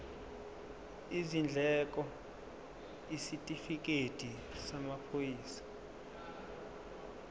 izindleko isitifikedi samaphoyisa